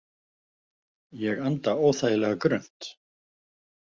Ég anda óþægilega grunnt.